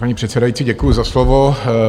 Paní předsedající, děkuji za slovo.